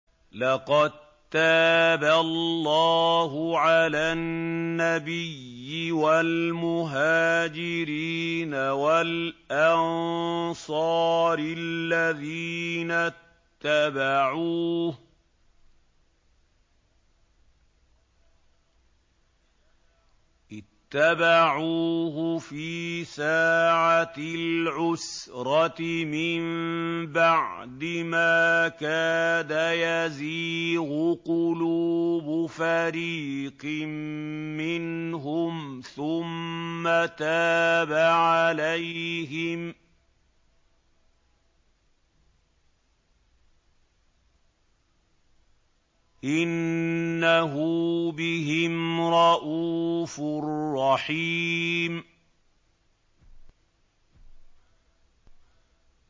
لَّقَد تَّابَ اللَّهُ عَلَى النَّبِيِّ وَالْمُهَاجِرِينَ وَالْأَنصَارِ الَّذِينَ اتَّبَعُوهُ فِي سَاعَةِ الْعُسْرَةِ مِن بَعْدِ مَا كَادَ يَزِيغُ قُلُوبُ فَرِيقٍ مِّنْهُمْ ثُمَّ تَابَ عَلَيْهِمْ ۚ إِنَّهُ بِهِمْ رَءُوفٌ رَّحِيمٌ